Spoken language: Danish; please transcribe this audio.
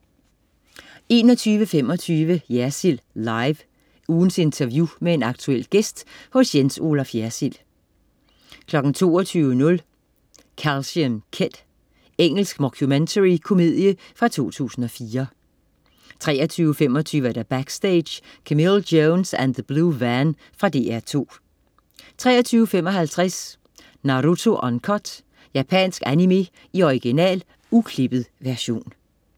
21.25 Jersild Live. Ugens interview med en aktuel gæst hos Jens Olaf Jersild 22.00 Calcium kid. Engelsk mockumentary komedie fra 2004 23.25 Backstage: Camille Jones & The Blue Van. Fra DR2 23.55 Naruto Uncut. Japansk animé i original, uklippet version